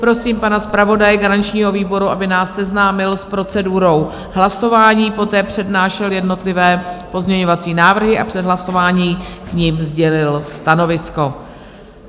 Prosím pana zpravodaje garančního výboru, aby nás seznámil s procedurou hlasování, poté přednášel jednotlivé pozměňovací návrhy a před hlasováním k nim sdělil stanovisko.